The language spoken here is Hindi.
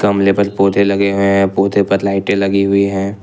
मले पे पौधे लगे हुऎ हैं पौधे पर लाइटें लगी हुई है।